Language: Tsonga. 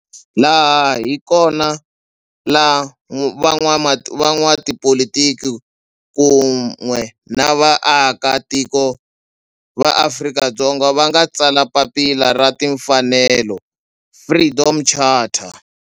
Laha hi kona la van'watipolitiki kun'we ni vaaka tiko va Afrika-Dzonga va nga tsala papila ra timfanelo, Freedom Charter.